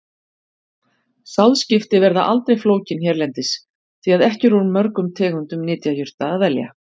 Sáðskipti verða aldrei flókin hérlendis, því að ekki er úr mörgum tegundum nytjajurta að velja.